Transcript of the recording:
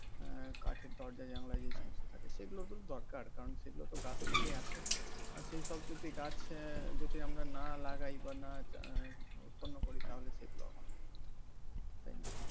আহ কাঠের দরজা জানলা যে সমস্ত থাকে সেগুলো তো দরকার কারণ সেগুলো তো গাছ থেকেই আসে আর সেই সব যদি গাছ আহ যাতে আমরা না লাগাই বা না উৎপন্ন করি তাহলে সেগুলো হবে কোথেকে তাই না